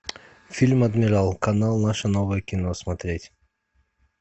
фильм адмирал канал наше новое кино смотреть